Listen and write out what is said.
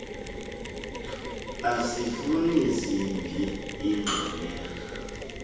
asifuni zimbi iingxwelerha